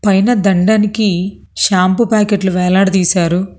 పైన దండానికి షాంపూ ప్యాకెట్లు వేలాడదీశారు.